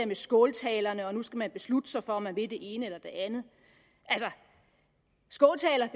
med skåltalerne og nu skal beslutte sig for om man vil det ene eller det andet skåltaler